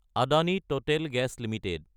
Adani Total Gas Ltd